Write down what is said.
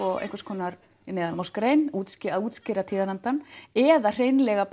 nokkurs konar neðanmálsgrein útskýring útskýring á tíðarandanum eða hreinlega